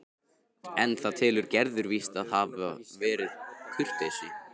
En það telur Gerður víst að hafi bara verið kurteisi.